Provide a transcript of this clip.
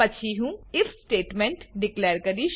પછી હું if statement declare કરીશ